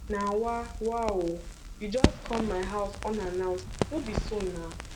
na wa wa o you just come my house unannounced no be so nah